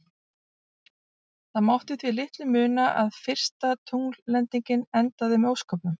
Það mátti því litlu muna að fyrsta tungllendingin endaði með ósköpum.